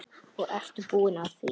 Og ertu búin að því?